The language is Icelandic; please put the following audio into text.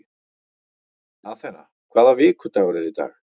Athena, hvaða vikudagur er í dag?